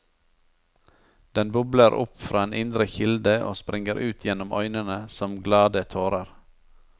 Den bobler opp fra en indre kilde og springer ut gjennom øynene som glade tårer.